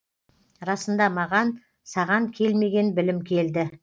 расында маған саған келмеген білім келді